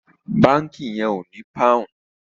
Bánkì yen o ní poun